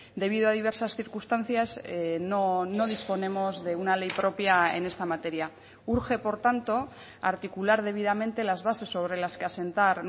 debido a diversas circunstancias no disponemos de una ley propia en esta materia urge por tanto articular debidamente las bases sobre las que asentar